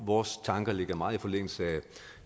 vores tanker ligger meget i forlængelse af